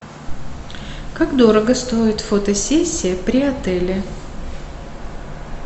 как дорого стоит фотосессия при отеле